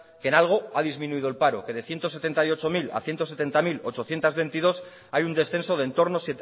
que en algo ha disminuido el paro que de ciento setenta y ocho mil a ciento setenta mil ochocientos veintidós hay un descenso entorno